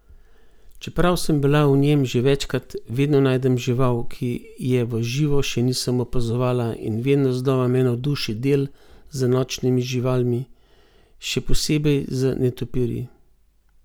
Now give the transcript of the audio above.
Čeprav sem bila v njem že večkrat, vedno najdem žival, ki je v živo še nisem opazovala, in vedno znova me navduši del z nočnimi živalmi, še posebej z netopirji.